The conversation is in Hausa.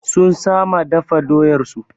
Sun sama dafa doyar su